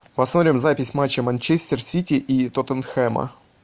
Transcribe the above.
посмотрим запись матча манчестер сити и тоттенхэма